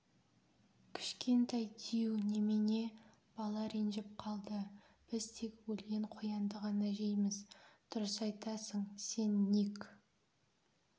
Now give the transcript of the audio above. кішкентай дию немене бала ренжіп қалды біз тек өлген қоянды ғана жейміз дұрыс айтасың сен ник